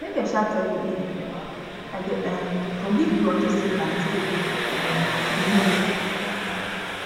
make i um tell you eh i dey um forgive you unto say na mistake um you make